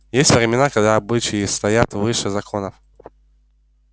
есть времена когда обычаи стоят выше законов